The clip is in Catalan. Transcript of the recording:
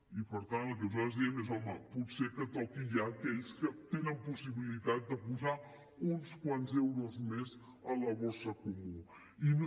i per tant el que nosaltres diem és home potser que toqui ja a aquells que tenen possibilitat de posar uns quants euros més a la bossa comuna